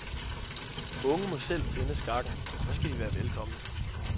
Unge må selv finde skakken, og så skal de være velkomne.